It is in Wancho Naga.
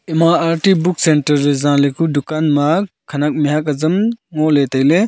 ema arti book centre le zaleku dukan ma khenak mihak azam ngoley tailey.